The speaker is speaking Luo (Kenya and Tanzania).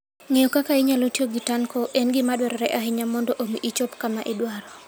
Ng'eyo kaka inyalo tiyo gi tanko en gima dwarore ahinya mondo omi ichop kama idwaro.